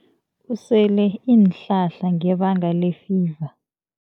Usele iinhlahla ngebanga lefiva.